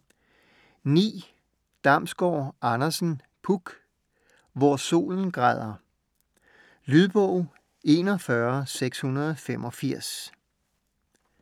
Damsgård Andersen, Puk: Hvor solen græder Lydbog 41685